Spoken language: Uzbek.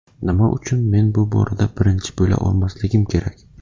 Nima uchun men bu borada birinchi bo‘la olmasligim kerak?